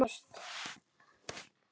Hún er lokuð og læst.